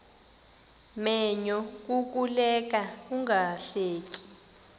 menyo kukuleka ungahleki